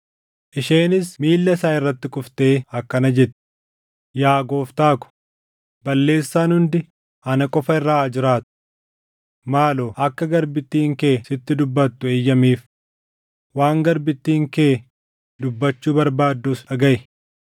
Isheenis miilla isaa irratti kuftee akkana jette: “Yaa gooftaa ko, balleessaan hundi ana qofa irra haa jiraatu. Maaloo akka garbittiin kee sitti dubbattu eeyyamiif; waan garbittiin kee dubbachuu barbaaddus dhagaʼi.